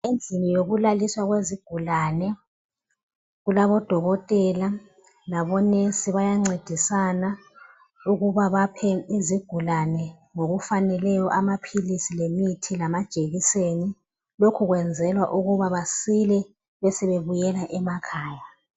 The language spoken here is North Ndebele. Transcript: Endlini yokulaliswa kwezigulane kulabodokotela labongikazi bayancedisana ukuba baphe izigulane ngokufaneleyo amaphilisi lemithi lamajekiseni lokhu kwenzelwa ukuba basile besebebuyela emakhaya.